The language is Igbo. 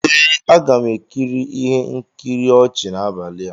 Ee, m ga-ekiri ihe nkiri ọchị n'abalị a